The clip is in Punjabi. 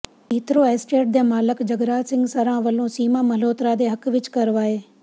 ਹੀਥਰੋ ਅਸਟੇਟ ਦੇ ਮਾਲਕ ਜਗਰਾਜ ਸਿੰਘ ਸਰਾਂ ਵੱਲੋਂ ਸੀਮਾ ਮਲਹੋਤਰਾ ਦੇ ਹੱਕ ਵਿੱਚ ਕਰਵਾਏ